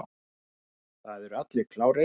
Það eru allir klárir.